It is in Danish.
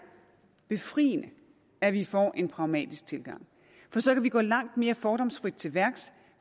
befriende at vi får en pragmatisk tilgang for så kan vi gå langt mere fordomsfrit til værks